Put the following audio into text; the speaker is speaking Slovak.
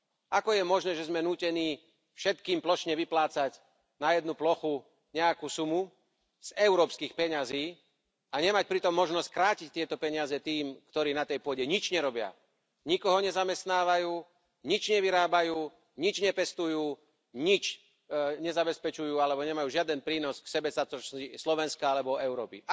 Ako je možné, že sme nútení všetkým plošne vyplácať na jednu plochu nejakú sumu z európskych peňazí a nemať pritom možnosť krátiť tieto peniaze tým, ktorí na tej pôde nič nerobia, nikoho nezamestnávajú, nič nevyrábajú, nič nepestujú, nič nezabezpečujú alebo nemajú žiaden prínos k sebestačnosti Slovenska alebo Európy.